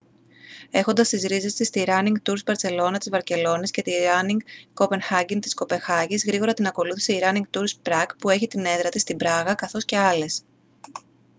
έχοντας τις ρίζες της στη ράνινγκ τουρς μπαρσελόνα της βαρκελώνης και τη ράνινγκ κοπενχάγκεν της κοπενχάγης γρήγορα την ακολούθησε η ράνινγκ τουρς πραγκ που έχει την έδρα της στην πράγα καθώς και άλλες